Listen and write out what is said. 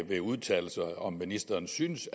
vil udtale sig om hvorvidt ministeren synes